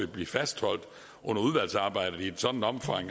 blive fastholdt under udvalgsarbejdet i et sådant omfang